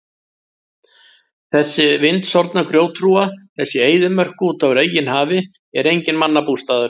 Þessi vindsorfna grjóthrúga, þessi eyðimörk úti á reginhafi er enginn mannabústaður.